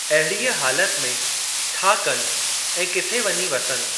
अहिड़ीअ हालति में छा कनि ऐं किथे वञी वसनि?